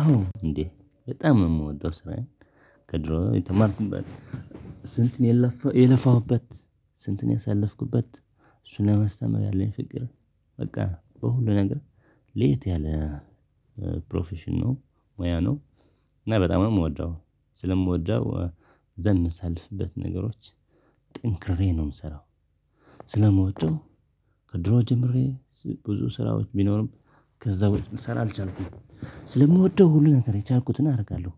አዎ እንዴ በጣም የምወደው ስራዬን ከድሮ የተማርኩበት ስንት የለፋሁበት ስንት ያሳለፍኩበት እሱን ለማስተማር ያለኝ ፍቅር በቃ በሁሉ ነገር ለየት ያለ ፕሮፌሽን ነው ሙያ ነው። እና በጣም የምወደው ስለምወደው ማሳልፍበት ነገሮች ጥንክሬ ነው የምሰራው። ስለምወደው ከድሮ ጀምሬ ብዙ ስራዎች ቢኖሩም ከዛ ቦታ ላልስራ አልቻልኩም ስለምወደው ሁሉ ነገር የቻልኩትን አደርጋለሁ።